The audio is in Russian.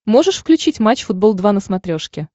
можешь включить матч футбол два на смотрешке